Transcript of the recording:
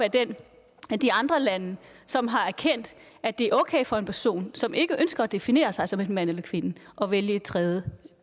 ad de andre lande som har erkendt at det er okay for en person som ikke ønsker at definere sig som enten mand eller kvinde at vælge et tredje